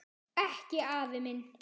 Ekki afi minn.